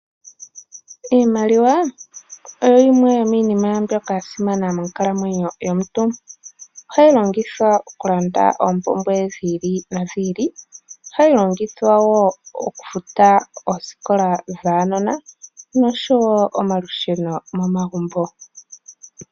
Iimaliwa oyo yimwe yomiinima mbyoka yasimana monkalamwenyo yomuntu, ohayi longithwa okulanda oompumbwe dhiili nodhiili ,ohayi longithwa wo okufuta oosikola dhuunona oshowo omalusheno momagumbo.